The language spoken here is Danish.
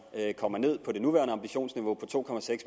kommer ned på det nuværende ambitionsniveau på to